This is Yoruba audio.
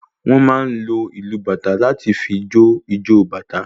Wọn máa ń lò ìlu bàtá láti fí jo ìjọ bàtá